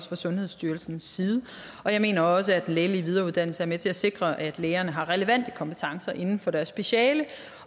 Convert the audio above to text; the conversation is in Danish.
fra sundhedsstyrelsens side jeg mener også at den lægelige videreuddannelse er med til at sikre at lægerne har relevante kompetencer inden for deres speciale